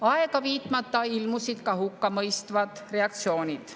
Aega viitmata ilmusid ka hukkamõistvad reaktsioonid.